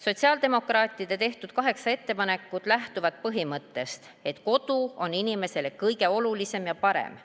Sotsiaaldemokraatide tehtud kaheksa ettepanekut lähtuvad põhimõttest, et kodu on inimesele kõige olulisem ja parem.